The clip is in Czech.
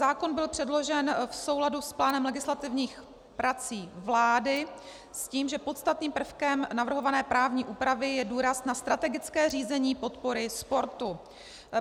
Zákon byl předložen v souladu s plánem legislativních prací vlády s tím, že podstatným prvkem navrhované právní úpravy je důraz na strategické řízení podpory sportu.